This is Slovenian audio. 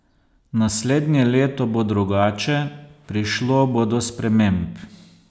Naslednje leto bo drugače, prišlo bo do sprememb.